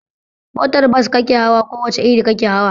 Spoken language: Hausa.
Motar bas kake hawa ko wace iri kake hawa?